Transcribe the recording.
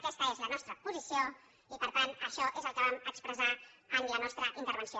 aquesta és la nostra posició i per tant això és el que vam expressar en la nostra intervenció